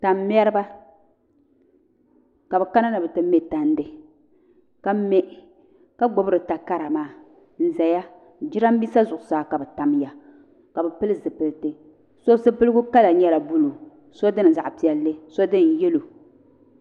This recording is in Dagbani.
tan'meriba ka bɛ kana ni bɛ ti me tandi ka me ka gbubi di takara maa n-gbaya jirambisa zuɣusaa ka bɛ tamiya ka bɛ pili zupiliti so zipiligu kala nyɛla buluu so dini zaɣ'piɛlli so dini yɛloEdit (Resolution)